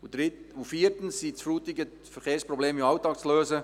Viertens sind die Frutiger Verkehrsprobleme im Alltag zu lösen.